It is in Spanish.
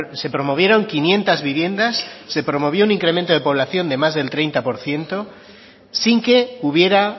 se promovieron quinientos viviendas se promovió un incremento de población del más del treinta por ciento sin que hubiera